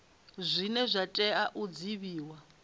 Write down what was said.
zwine zwa tea u divhiwa